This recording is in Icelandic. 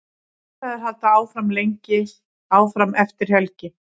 Viðræður halda áfram eftir helgi.